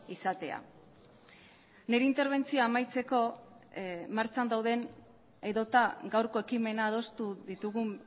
izatea nire interbentzioa amaitzeko martxan dauden edota gaurko ekimena adostu ditugun